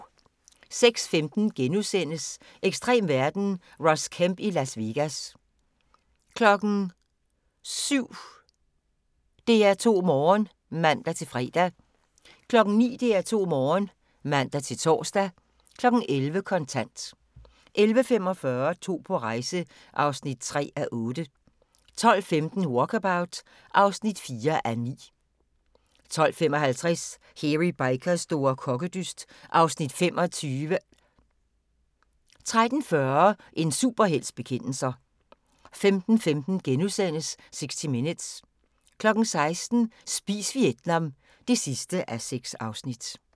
06:15: Ekstrem verden – Ross Kemp i Las Vegas * 07:00: DR2 Morgen (man-fre) 09:00: DR2 Morgen (man-tor) 11:00: Kontant 11:45: To på rejse (3:8) 12:15: Walkabout (4:9) 12:55: Hairy Bikers store kokkedyst (Afs. 25) 13:40: En superhelts bekendelser 15:15: 60 Minutes * 16:00: Spis Vietnam (6:6)